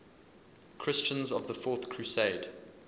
christians of the fourth crusade